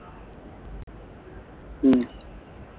ഉം